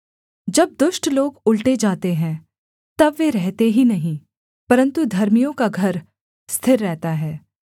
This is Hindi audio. जब दुष्ट लोग उलटे जाते हैं तब वे रहते ही नहीं परन्तु धर्मियों का घर स्थिर रहता है